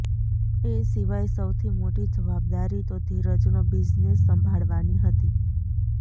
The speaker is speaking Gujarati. એ સિવાય સૌથી મોટી જવાબદારી તો ધીરજનો બિઝનેસ સંભાળવાની હતી